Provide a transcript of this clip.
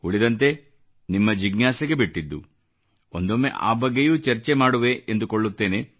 ಉಳಿದಂತೆ ನಿಮ್ಮ ಜಿಜ್ಞಾಸೆಗೆ ಬಿಟ್ಟಿದ್ದು ಒಂದೊಮ್ಮೆ ಆ ಬಗ್ಗೆಯೂ ಚರ್ಚೆ ಮಾಡುವೆ ಎಂದುಕೊಳ್ಳುತ್ತೇನೆ